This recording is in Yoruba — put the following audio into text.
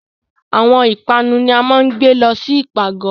Awọn ipanu ni a maa ǹ gbe lọ si ipagọ